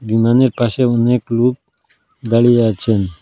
বিমানের পাশে অনেক লুক দাঁড়িয়ে আছেন।